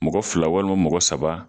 Mɔgɔ fila walima mɔgɔ saba